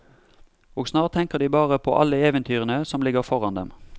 Og snart tenker de bare på alle eventyrene som ligger foran dem.